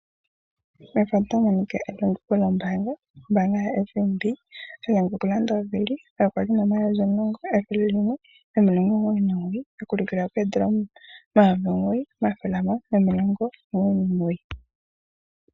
Methano tali landula otamu monika ekuluko lyombaanga ndjoka yaFNB, ndjoka tayi landitha owili yali yina oondola omayovi omulongo, ethele nomilongo omugoyi nomugoyi ashike mopaife oya kuluka noyina ashike oondola omayovi omugoyi, omathele gahamano nomilongo omugoyi nomugoyi.